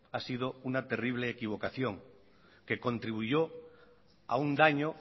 ha sido una terrible equivocación que contribuyó a un daño